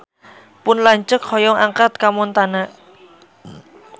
Pun lanceuk hoyong angkat ka Montana